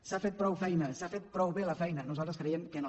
s’ha fet prou feina s’ha fet prou bé la feina nosaltres creiem que no